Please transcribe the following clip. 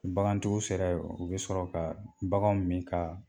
Bagantigiw sera ye o u bɛ sɔrɔ ka baganw min kaa